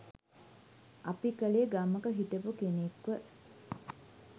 අපි කළේ ගමක හිටපු කෙනෙක්ව